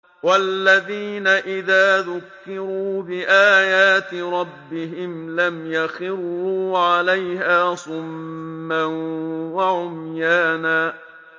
وَالَّذِينَ إِذَا ذُكِّرُوا بِآيَاتِ رَبِّهِمْ لَمْ يَخِرُّوا عَلَيْهَا صُمًّا وَعُمْيَانًا